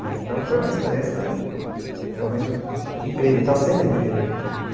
Então foi uma experiência realmente incrível e está sendo incrível.